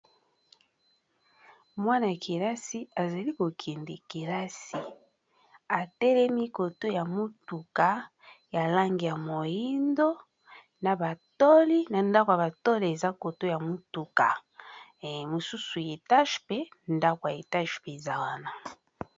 Mwana yakilasi azali kokende kilasi atelemi koto ya motuka ya lange ya moindo na batoli na ndako ya batole eza koto ya motuka mosusu ya etage mpe ndako ya etage mpe eza wana.